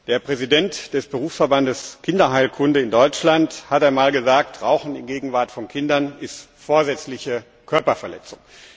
Der Präsident des Berufsverbands Kinderheilkunde in Deutschland hat einmal gesagt Rauchen in Gegenwart von Kindern ist vorsätzliche Körperverletzung.